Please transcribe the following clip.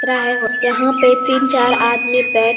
उतरा है यहाँ पे तीन चार आदमी बैठ --